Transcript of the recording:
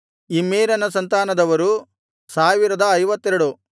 ಇಮ್ಮೇರನ ಸಂತಾನದವರು 1052